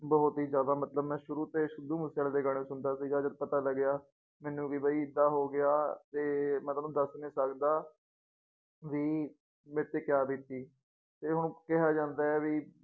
ਬਹੁਤ ਹੀ ਜ਼ਿਆਦਾ ਮਤਲਬ ਮੈਂ ਸ਼ੁਰੂ ਤੇ ਸਿੱਧੂ ਮੂਸੇਵਾਲੇ ਦੇ ਗਾਣੇ ਸੁਣਦਾ ਸੀਗਾ ਜਦ ਪਤਾ ਲੱਗਿਆ ਮੈਨੂੰ ਵੀ ਬਾਈ ਏਦਾਂ ਹੋ ਗਿਆ ਤੇ ਮੈਂ ਤੁਹਾਨੂੰ ਦੱਸ ਨੀ ਸਕਦਾ ਵੀ ਮੇਰੇ ਤੇ ਕਿਆ ਬੀਤੀ ਤੇ ਹੁਣ ਕਿਹਾ ਜਾਂਦਾ ਹੈ ਵੀ